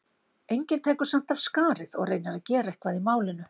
Enginn tekur samt af skarið og reynir að gera eitthvað í málinu.